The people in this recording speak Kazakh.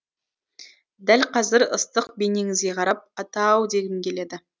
дәл қазір ыстық бейнеңізге қарап атаау дегім келеді